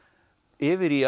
yfir í